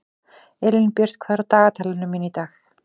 Elínbjört, hvað er á dagatalinu mínu í dag?